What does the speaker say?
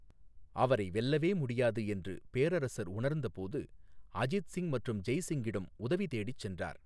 அவரை வெல்லவே முடியாது என்று பேரரசர் உணர்ந்தபோது, அஜித் சிங் மற்றும் ஜெய் சிங்கிடம் உதவிதேடிச் சென்றார்.